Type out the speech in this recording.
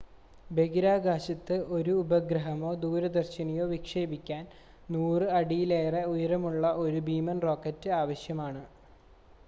ബഹിരാകാശത്ത് ഒരു ഉപഗ്രഹമോ ദൂരദർശിനിയോ വിക്ഷേപിക്കാൻ 100 അടിയിലേറെ ഉയരമുള്ള ഒരു ഭീമൻ റോക്കറ്റ് ആവശ്യമാണ്